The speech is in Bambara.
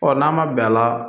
Ɔ n'a ma bɛn a la